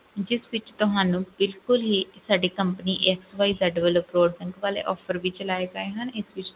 ਜਿਸ ਵਿੱਚ ਤੁਹਾਨੂੰ ਬਿਲਕੁਲ ਹੀ ਸਾਡੀ company XYZ ਵੱਲੋਂ broadband ਵਾਲੇ offer ਵੀ ਚਲਾਏ ਗਏ ਹਨ ਇਸ ਵਿੱਚ,